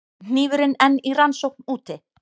Hnífurinn enn í rannsókn úti